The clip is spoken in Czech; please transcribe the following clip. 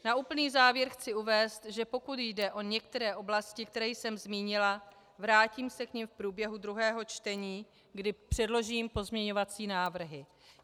Na úplný závěr chci uvést, že pokud jde o některé oblasti, které jsem zmínila, vrátím se k nim v průběhu druhého čtení, kdy předložím pozměňovací návrhy.